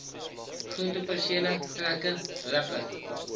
groentepersele trekker ripper